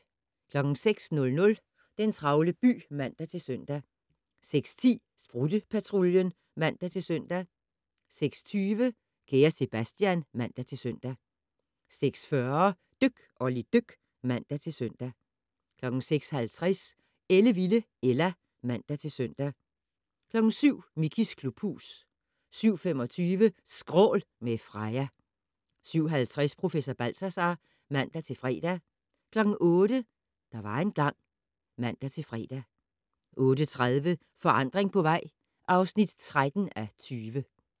06:00: Den travle by (man-søn) 06:10: Sprutte-Patruljen (man-søn) 06:20: Kære Sebastian (man-søn) 06:40: Dyk Olli dyk (man-søn) 06:50: Ellevilde Ella (man-søn) 07:00: Mickeys klubhus 07:25: Skrål - med Freja 07:50: Professor Balthazar (man-fre) 08:00: Der var engang ... (man-fre) 08:30: Forandring på vej (13:20)